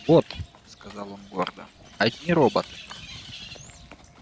вот сказал он гордо одни роботы